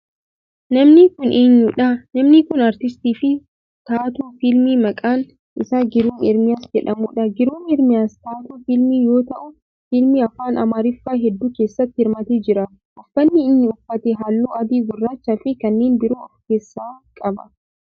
Namni kun eenyudha? Namni kun aartistii fi taatoo fiilmii maqaan isaa Giruum Ermiyaas jedhamudha. Giruum Ermiyaas taatoo fiilmii yoo ta'u fiilmii afaan amaariffaa heddu keessatti hirmaatee jira. Uffanni inni uffate halluu adii, gurraacha fi kanneen biroo of keessaa qaba.